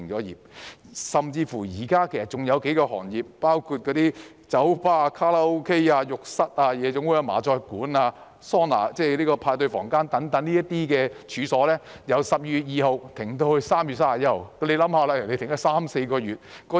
現時甚至還有數個行業，包括酒吧、卡拉 OK、浴室、夜總會、麻將館、桑拿、派對房間等處所，由去年12月2日停業至今年3月31日。